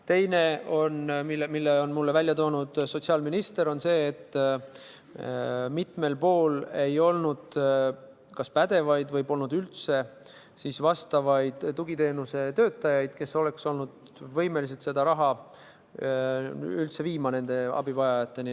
Teine, mille on välja toonud sotsiaalminister, on see, et mitmel pool ei olnud kas pädevaid või polnud üldse vastavaid tugiteenuse töötajaid, kes oleks olnud võimelised seda raha nende abivajajateni viima.